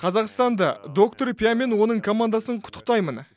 қазақстанда доктор пя мен оның командасын құттықтаймын